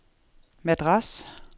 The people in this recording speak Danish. Madras